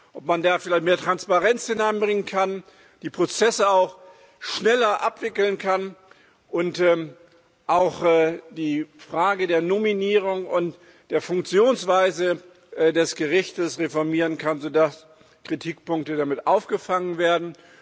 Ob man da vielleicht mehr Transparenz hineinbringen kann, die Prozesse auch schneller abwickeln kann und auch die Frage der Nominierung und der Funktionsweise des Gerichts reformieren kann, so dass Kritikpunkte damit aufgefangen werden.